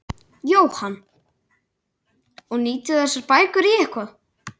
Jóhann: Og nýtið þið þessar bækur í eitthvað?